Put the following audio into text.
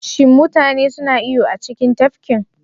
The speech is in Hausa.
Shin mutane suna iyo a cikin tafkin?